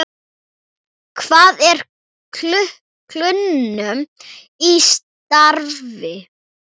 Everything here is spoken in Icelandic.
Hvað er kulnun í starfi?